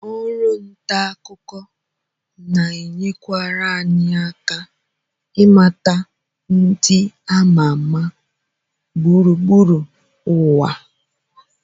Ọrụ nta akụkọ na-enyekwara anyị aka ịmata ndị ama ama gburugburu ụwa